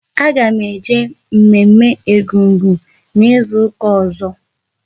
A ga m eje mme mme Egungun n'izuka ọzọ